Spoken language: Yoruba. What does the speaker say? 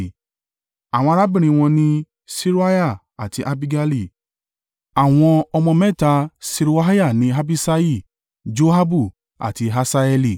Àwọn arábìnrin wọn ni Seruiah àti Abigaili. Àwọn ọmọ mẹ́ta Seruiah ni Abiṣai, Joabu àti Asaheli.